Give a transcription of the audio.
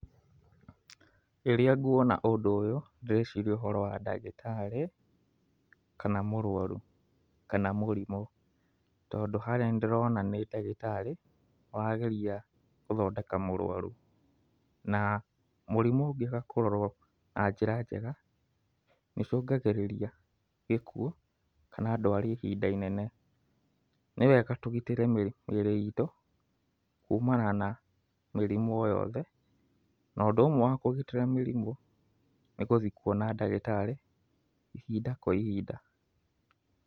Rĩrĩa ngũona ũndũ ũyũ ndĩreciria ũhoro wa ndagĩtarĩ kana mũrũaru kana mũrimũ tondũ harĩa nĩ ndĩrona nĩ ndagĩtarĩ ũrageria gũthondeka mũrũaru. Na mũrimũ ũngĩaga kũrorwo na njĩra njega nĩ ũcũngagĩrĩragia gĩkuũ kana ndwari ya ihinda inene. Nĩ wega tũgitĩre mĩrĩ itũ kumana na mĩrimũ o yothe. No ũndũ ũmwe wa kũgitĩra mĩrimũ nĩ gũthiĩ kwona ndagĩtarĩ ihinda kwa ihinda.